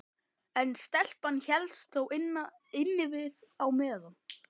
En stelpan hélst þó innivið á meðan.